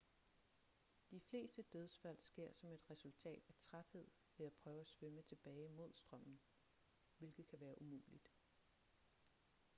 de fleste dødsfald sker som et resultat af træthed ved at prøve at svømme tilbage mod strømmen hvilket kan være umuligt